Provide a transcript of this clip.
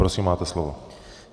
Prosím, máte slovo.